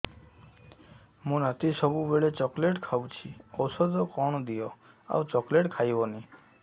ମୋ ନାତି ସବୁବେଳେ ଚକଲେଟ ଖାଉଛି ଔଷଧ କଣ ଦିଅ ଆଉ ଚକଲେଟ ଖାଇବନି